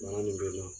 Bana nin be na